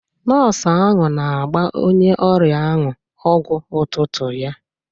Nọọsụ ahụ na-agba onye ọrịa ahụ ọgwụ ụtụtụ ya.